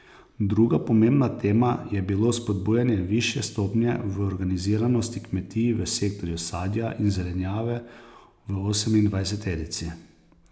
Druga pomembna tema je bilo spodbujanje višje stopnje organiziranosti kmetij v sektorju sadja in zelenjave v osemindvajseterici.